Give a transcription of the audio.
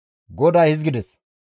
GODAY hizgides,